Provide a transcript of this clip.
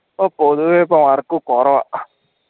ഇപ്പോ പൊതുവേ ഇപ്പോ work കുറവാ